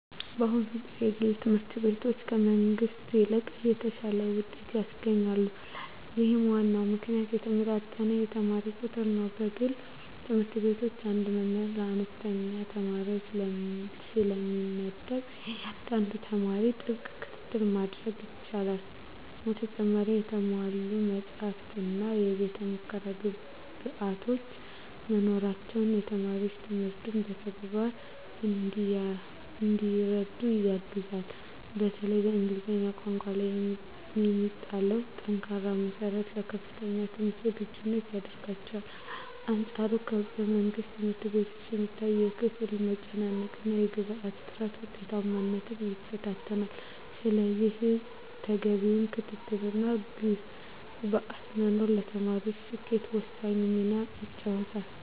በአሁኑ ጊዜ የግል ትምህርት ቤቶች ከመንግሥት ይልቅ የተሻለ ውጤት ያስገኛሉ። ለዚህም ዋናው ምክንያት የተመጣጠነ የተማሪ ቁጥር ነው። በግል ትምህርት ቤቶች አንድ መምህር ለአነስተኛ ተማሪዎች ስለሚመደብ፣ ለእያንዳንዱ ተማሪ ጥብቅ ክትትል ማድረግ ይቻላል። በተጨማሪም የተሟሉ መጻሕፍትና የቤተ-ሙከራ ግብዓቶች መኖራቸው ተማሪዎች ትምህርቱን በተግባር እንዲረዱ ያግዛል። በተለይም በእንግሊዝኛ ቋንቋ ላይ የሚጣለው ጠንካራ መሠረት ለከፍተኛ ትምህርት ዝግጁ ያደርጋቸዋል። በአንፃሩ በመንግሥት ትምህርት ቤቶች የሚታየው የክፍል መጨናነቅና የግብዓት እጥረት ውጤታማነትን ይፈታተናል። ስለዚህ ተገቢው ክትትልና ግብዓት መኖሩ ለተማሪዎች ስኬት ወሳኝ ሚና ይጫወታል።